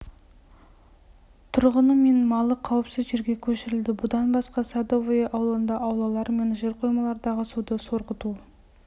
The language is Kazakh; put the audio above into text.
тұрғыны мен малы қауіпсіз жерге көшірілді бұдан басқа садовое ауылында аулалар мен жерқоймалардағы суды сорғыту